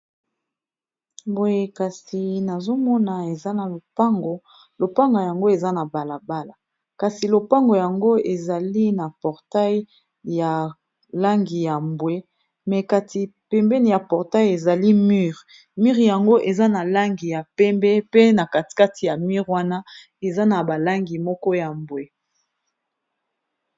Boye kasi nazomona eza na lopango, lopango yango eza na balabala kasi lopango yango ezali na portail ya langi ya mbwe me kati pembeni ya portail ezali mur mure yango eza na langi ya pembe pe na katikati ya mure wana eza na balangi moko ya mbwe.